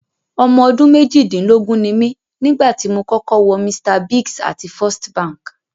Ọmọ ọdún méjìdínlógún ni mí nígbà tí mo kọ́kọ́ wọ Mr Biggs àti First Bank.